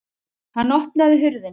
Hann opnaði hurðina.